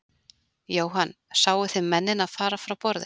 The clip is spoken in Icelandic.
Jóhann: Sáu þið mennina fara frá borði?